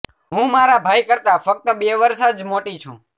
હું મારા ભાઈ કરતા ફક્ત બે વર્ષ જ મોટી છું